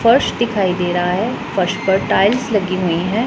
फर्श दिखाई दे रहा है फर्श पर टाइल्स लगी हुई हैं।